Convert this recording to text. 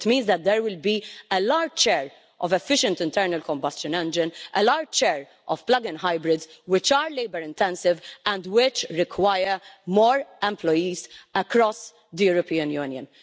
It means that there will be a large share of efficient internal combustion engines and a large share of plug in hybrids, which are labour-intensive and which require more employees across the European Union.